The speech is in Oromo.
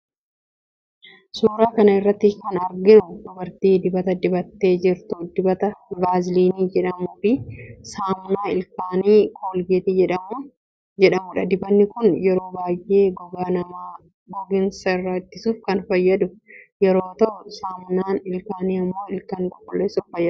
Suuraa kana irratti kan arginu dubartii dibata dibattee jirtu, dibata vaziilinii jedhamu fi saamunaa ilkaanii colgate jedhamudha. Dibannii kun yeroo baayyee gogaa nama googinsa irraa ittisuuf kan fayyadu yoo ta'u saamunaan ilkaanii immoo ilkaan qulqulleessuuf fayyada.